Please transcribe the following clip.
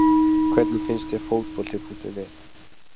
Hvernig finnst þér Fótbolti.net?